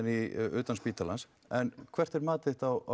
utan spítalans en hvert mat þitt á